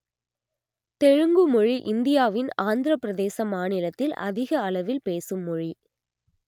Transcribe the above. தெலுங்கு மொழி இந்தியாவின் ஆந்திரப் பிரதேச மாநிலத்தில் அதிக அளவில் பேசும் மொழி